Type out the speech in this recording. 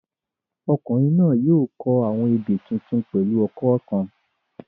Ọkùnrin náà yóò kọ àwọn ebè tuntun pẹ̀lú ọkọ́ kan